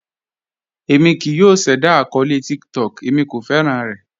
Èmi kíì yọ̀ ṣẹda akọọlẹ̀ TikTok, èmi kò fẹ́ran rẹ̀.